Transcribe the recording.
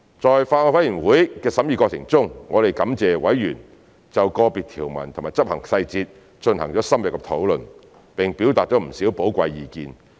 在法案委員會的審議過程中，我們感謝委員就個別條文及執行細節進行了深入的討論，並表達了不少寶貴意見。